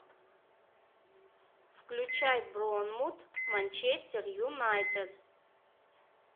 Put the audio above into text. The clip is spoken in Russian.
включай борнмут манчестер юнайтед